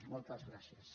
moltes gràcies